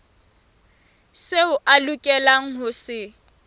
seo a lokelang ho se